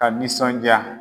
Ka nisɔndiya.